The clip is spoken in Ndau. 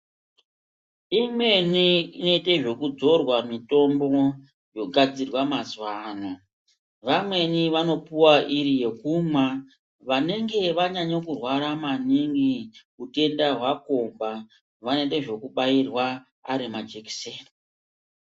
Imweni inoite zvekudzorwa mitombo yogadzirwa mazuwaano. Vamweni vanopuwa iri yokumwa, vanenge vanyanye kurwara maningi utenda hwakomba vanoite zvekubairwa ari majekiseni.